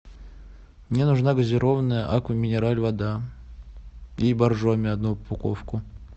мне нужна газированная аква минерале вода и боржоми одну упаковку